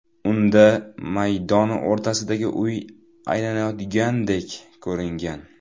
Unda maydon o‘rtasidagi uy aylanayotgandek ko‘ringan.